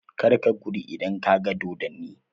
Kar ka gudu idan ka ga dodonni!